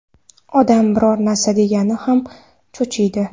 Odam biror narsa degani ham cho‘chiydi”.